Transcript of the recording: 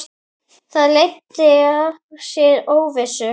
Það leiddi af sér óvissu.